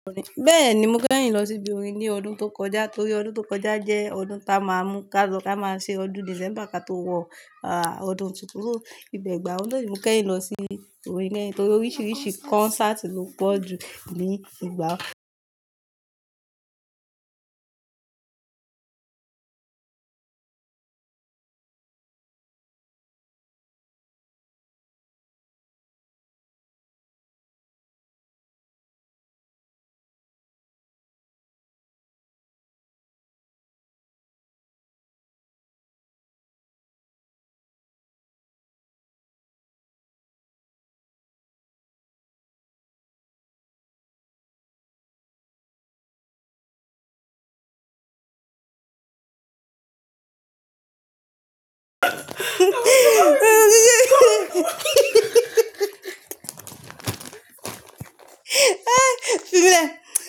Bẹ́ẹ̀ni, mo kẹ́yìn lọ sí ibi orin ní ọdún tó kọjá, torí ọdún tó kọjá jẹ́ ọdún tá a máa mú ká lọ tá a máa ṣe ọdún December ká tó wọ̀, à, ọdún tuntun. Ní ìbẹ̀ gbà ọdún, mo kẹ́yìn lọ sí ibi orin kẹ́yìn torí oríṣiríṣi concert ló pọ̀ ju ìgbà.